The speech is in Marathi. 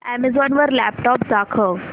अॅमेझॉन वर लॅपटॉप्स दाखव